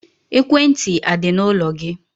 Ekwentị a dị n'ụlọ gị?